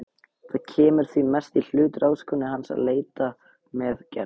Það kemur því mest í hlut ráðskonu hans að leita með Gerði.